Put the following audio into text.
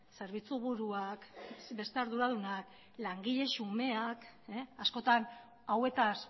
zerbitzu buruak beste arduradunak langile xumeak askotan hauetaz